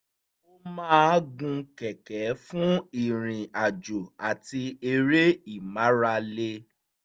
ó máa gun kẹ̀kẹ́ fún ìrìnàjò àti eré ìmárale